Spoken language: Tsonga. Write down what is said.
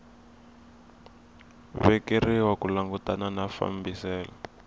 vekeriwa ku langutana na fambiselo